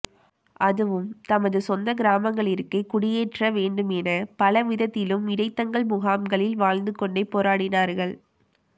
அதுவும் தமது சொந்த கிராமங்களிற்கே குடியேற்ற வேண்டுமென பலவிதத்திலும் இடைத்தங்கல் முகாம்களில் வாழ்ந்துகொண்டே போராடினார்கள்